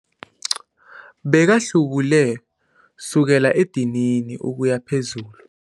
Bekahlubule kusukela edinini ukuya phezulu.